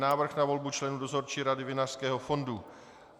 Návrh na volbu členů Dozorčí rady Vinařského fondu